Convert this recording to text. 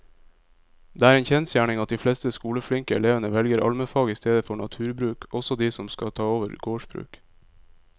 Det er en kjensgjerning at de fleste skoleflinke elevene velger allmennfag i stedet for naturbruk, også de som skal ta over gårdsbruk.